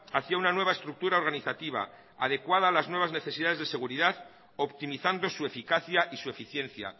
hacia una nueva estructura organizativa adecuada a las nuevas necesidades de seguridad optimizando su eficacia y su eficiencia